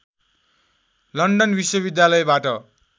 London विश्वविद्यालयबाट